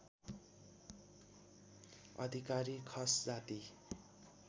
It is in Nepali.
अधिकारी खस जाति